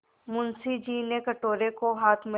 मुंशी जी ने कटोरे को हाथ में